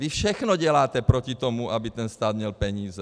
Vy všechno děláte proti tomu, aby ten stát měl peníze.